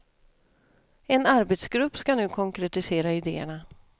En arbetsgrupp ska nu konkretisera idéerna.